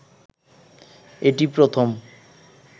এটিই প্রথম